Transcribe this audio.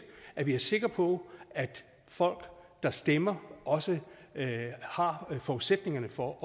er det er sikre på at folk der stemmer også har forudsætningerne for at